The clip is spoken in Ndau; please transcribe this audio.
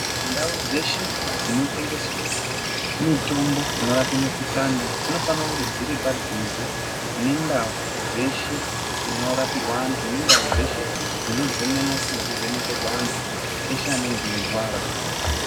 Ndau dzeshe dzinotengeswe mitombo inorape mikhulani dzinofanire kunge dziri panduze nendau dzeshe dzinorapirwa antu ,nendau dzeshe dzino zemenwa nekuvhenekerwa antu eshe anonga eirwara.